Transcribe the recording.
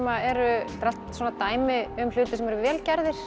eru allt dæmi um hluti sem eru vel gerðrir